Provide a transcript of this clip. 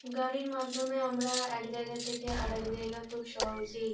গাড়ির মাধ্যমে আমরা এক জায়গা থেকে আরেক জায়গা খুব সহজেই--